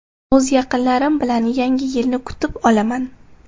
O‘z yaqinlarim bilan yangi yilni kutib olaman.